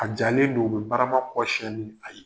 A jalen don, u bɛ barama kɔ siyɛn ni a ye.